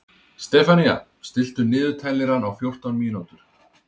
Stefanía, stilltu niðurteljara á fjórtán mínútur.